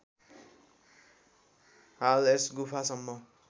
हाल यस गुफासम्म